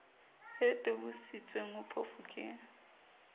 e tobisitsweng ho phofu ke